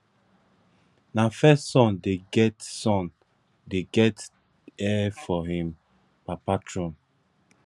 na first son dey get son dey get heir for im papa thrown